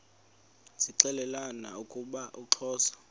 zixelelana ukuba uxhosa